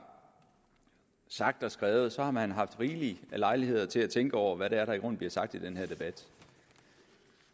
sagt og skrevet så har man haft rigelig lejlighed til at tænke over hvad det er der i grunden bliver sagt i den her debat